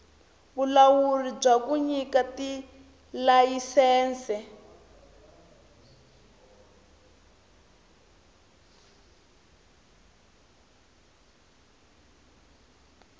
vulawuri bya ku nyika tilayisense